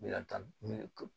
Miliyɔn tan